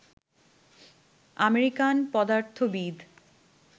American পদার্থবিদ